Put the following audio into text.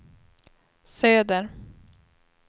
söder